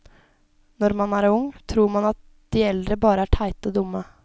Når man er ung, tror man at de eldre bare er teite og dumme.